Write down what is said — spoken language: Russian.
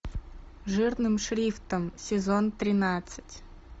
жирным шрифтом сезон тринадцать